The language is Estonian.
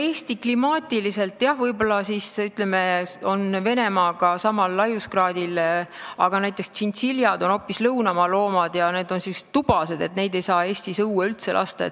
Eesti on klimaatiliselt, jah, Venemaaga samal laiuskraadil, aga näiteks tšintšiljad on hoopis lõunamaa loomad ja nad on siin tubased, neid ei saa Eestis õue üldse lasta.